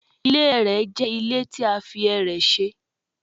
Ile ẹrẹ jẹ ile ti a fi ẹrẹ ṣe